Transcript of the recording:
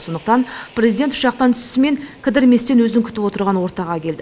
сондықтан президент ұшақтан түсісімен кідірместен өзін күтіп отырған ортаға келді